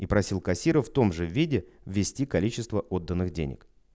и просил кассира в том же виде ввести количество отданных денег